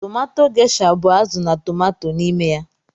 Tomato Gesha bu azụ na tomato n'ime ya.